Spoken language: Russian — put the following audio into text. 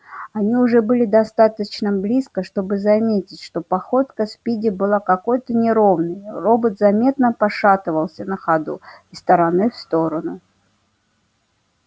они уже были достаточно близко чтобы заметить что походка спиди была какой-то неровной робот заметно пошатывался на ходу из стороны в сторону